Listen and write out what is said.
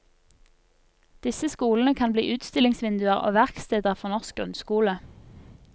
Disse skolene kan bli utstillingsvinduer og verksteder for norsk grunnskole.